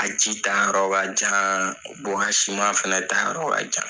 A ji ta yɔrɔ ka jan , a fɛn ta yɔrɔ ka jan.